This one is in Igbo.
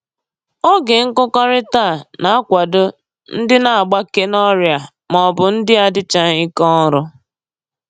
Oge nkụkọrịta a na-akwado ndị na-agbake n'ọrịa maọbụ ndị adịchaghị ike ọrụ